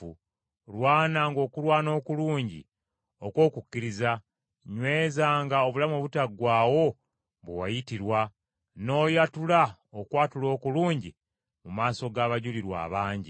Lwananga okulwana okulungi okw’okukkiriza, nywezanga obulamu obutaggwaawo bwe wayitirwa, n’oyatula okwatula okulungi mu maaso g’abajulirwa abangi.